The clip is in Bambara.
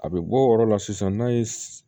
A bɛ bɔ o yɔrɔ la sisan n'a ye